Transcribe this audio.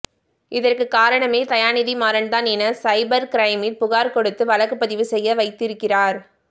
இதற்குக் காரணமே தயாநிதி மாறன்தான் என சைபர் கிரைமில் புகார் கொடுத்து வழக்குப் பதிவு செய்ய வைத்திருக்கிறார்